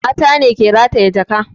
Mata ne ke rataya jaka